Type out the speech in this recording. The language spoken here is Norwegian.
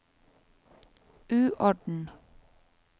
uorden